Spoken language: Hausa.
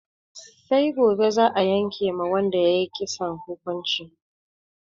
Sai gobe za'a yanke ma wanda ya yi kisan hukunci.